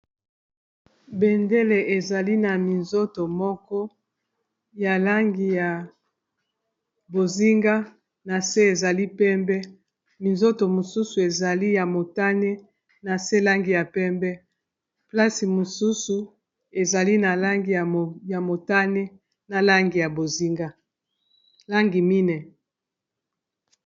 Bendele ezali na minzoto moko ya langi ya bozinga na se ezali pembe minzoto mosusu ezali ya motane na se langi ya pembe plase mosusu ezali na langi ya motane na llangi mine.